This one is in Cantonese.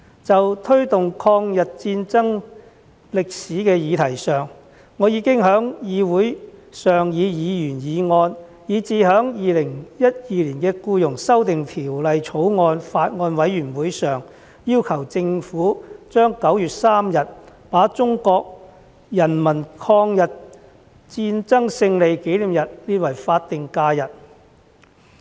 就推動抗日戰爭歷史的議題上，我已經在議會上以議員議案，以至在《2021年僱傭條例草案》委員會上，要求政府把9月3日中國人民抗日戰爭勝利紀念日列為法定假日。